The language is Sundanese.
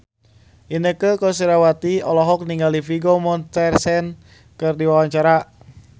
Inneke Koesherawati olohok ningali Vigo Mortensen keur diwawancara